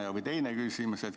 Ja teine küsimus.